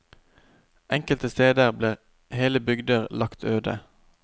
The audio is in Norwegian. Enkelte steder ble hele bygder lagt øde.